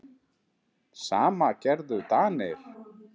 Sama gerðu Danir.